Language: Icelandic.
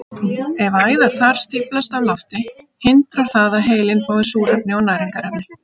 Ef æðar þar stíflast af lofti hindrar það að heilinn fái súrefni og næringarefni.